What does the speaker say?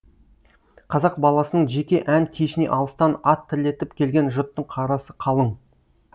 қазақ баласының жеке ән кешіне алыстан ат терлетіп келген жұрттың қарасы қалың